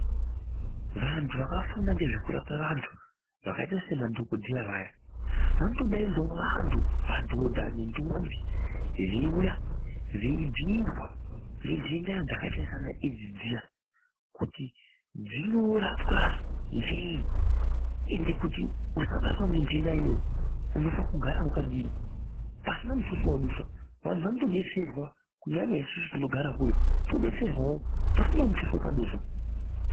Vantu vakafunda ngezvekurapa vantu vakaite semadhokoteya vaya , vanotodaidzawo vantu madhodha nendombi veiwuya veibhiirwa ngenhenda dzakaitwa seana aids dziya kuti dzinorapwa ngei ende kuti usabatwa nge nhenda unofanira kugara wakadiyi pasina mutuso watadusa anhu anotodetserwa kunyanya isusu tinogarawo kure todetserwawo pasina mutuso watadusa.